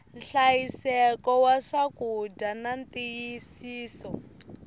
nhlayiseko wa swakudya na ntiyisiso